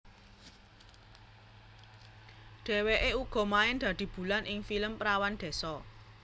Dheweke uga main dadi Bulan ing film Perawan Désa